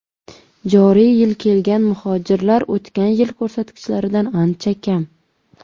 Joriy yil kelgan muhojirlar o‘tgan yil ko‘rsatkichlaridan ancha kam.